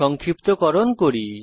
সংক্ষিপ্তকরণ করি